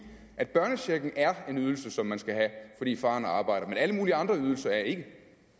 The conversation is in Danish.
at børnechecken er en ydelse som man skal have fordi faren arbejder men alle mulige andre ydelser er ikke